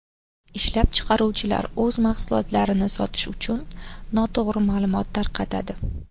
Ishlab chiqaruvchilar o‘z mahsulotlarini sotish uchun noto‘g‘ri ma’lumot tarqatadi.